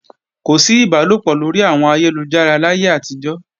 Kò sí ìbálòpọ̀ lórí àwọn ẹ̀rọ ayélujára láyé àtijọ́